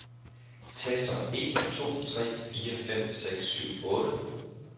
Tester en to tre fire fem seks syv otte.